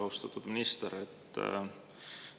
Austatud minister!